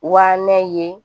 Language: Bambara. Wa ne ye